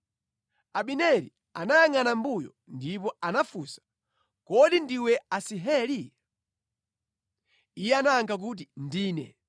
Abineri anayangʼana mʼmbuyo ndipo anafunsa, “Kodi ndiwe Asaheli?” Iye anayankha kuti, “Ndine.”